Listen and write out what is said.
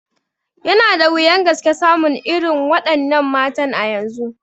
Yana da wuyan gaske samun irin wa ɗannan matan a yanzu